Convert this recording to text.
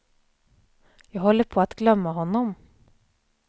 Jag håller på att glömma honom.